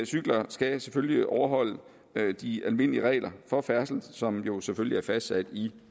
cykler skal selvfølgelig overholde de almindelige regler for færdsel som jo selvfølgelig er fastsat i